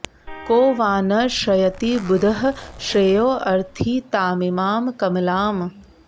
को वा न श्रयति बुधः श्रेयोऽर्थी तामिमां कमलाम्